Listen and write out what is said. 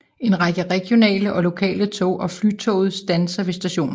En række regionale og lokale tog og Flytoget standser ved stationen